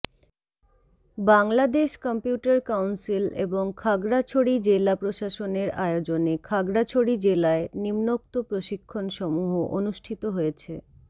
Bangladesh computer council এবং খাগড়াছড়ি জেলা প্রশাসনের আয়োজনে খাগড়াছড়ি জেলায় নিম্মোক্ত প্রশিক্ষণ সমূহ অনুষ্ঠিত হয়েছে